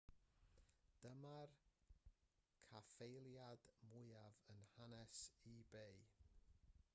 dyma'r caffaeliad mwyaf yn hanes ebay